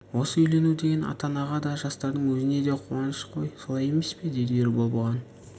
осы үйлену деген ата-анаға да жастардың өзіне де қуаныш қой солай емес пе деді ербол бұған